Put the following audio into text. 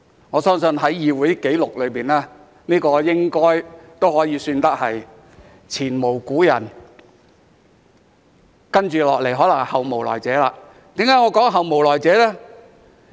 我相信在議會紀錄裏，這應可算是前無古人，而接着可能是後無來者，為何我會說後無來者呢？